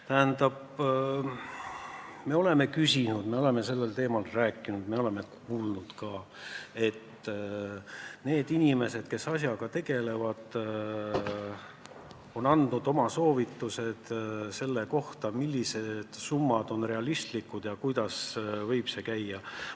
Me oleme selle kohta küsinud, me oleme sellel teemal rääkinud ja oleme kuulnud ka, et inimesed, kes asjaga tegelevad, on andnud oma soovitused selle kohta, millised summad on realistlikud ja kuidas võib piiri ehitamine käia.